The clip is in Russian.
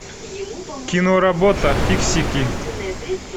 киноработа фиксики